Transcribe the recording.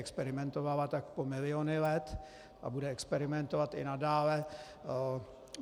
Experimentovala tak po miliony let a bude experimentovat i nadále.